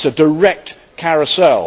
It is a direct carousel.